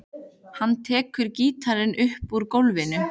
Hann tekur gítarinn upp úr gólfinu.